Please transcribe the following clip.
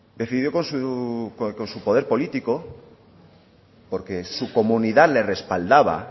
decidió con su poder político porque su comunidad le respaldaba